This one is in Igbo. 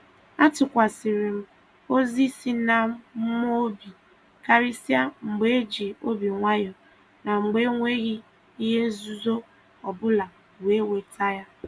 A tukwasara m ozi si n'mmụọ obi karịsịa mgbe e ji obi nwayọ na mgbe enweghị ihe nzuzo ọbụla wee weta ya